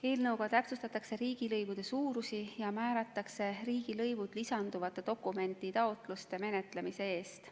Eelnõuga täpsustatakse riigilõivude suurusi ja määratakse riigilõivud lisanduvate dokumenditaotluste menetlemise eest.